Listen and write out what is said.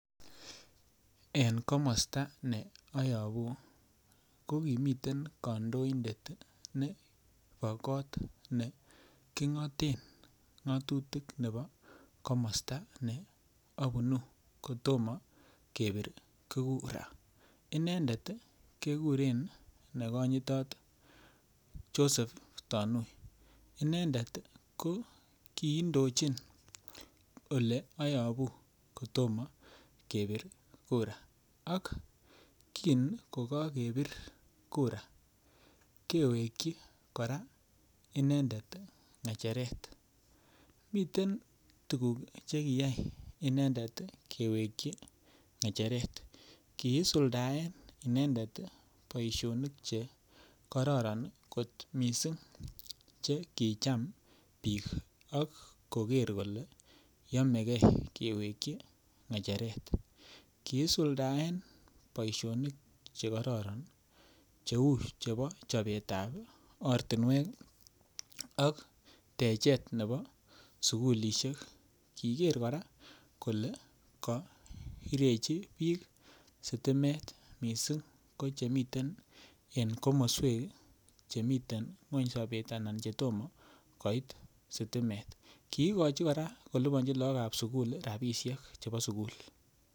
En komosta ne ayobu kokimiten kandoindet nebo kot neking'oten ng'atutik nebo komosta ne abunu kotomo kebir kura inendet kekuren nekonyitot Joseph Tonui inendet kokiindochin oleabunu kotomo kebir kura ak kin ko kokebir kura kewekyik inendet ng'echeret miten tuguk chekiyai inendet kewekyi ng'echeret kiisuldaen inendet boisionik chekororon kot missing chekicham biik akoker kole yomeke kewekyi inendet ng'echeret, kiisuldaen boisionik chekororon cheu chebo ortinwek ak techet ne bo sikulisiek kiker kora kole koirechi biik sitimet missing kochemiten en komoswek chemiten ngweng sobet anan chetomo koit sitimet kii kochi kora kolipanjin laokab sigul rapisiek.